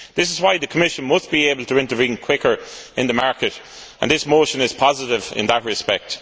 This is why the Commission must be able to intervene more quickly in the market, and this motion is positive in that respect.